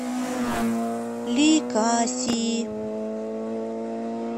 ликаси